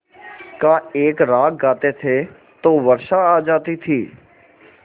का एक राग गाते थे तो वर्षा आ जाती थी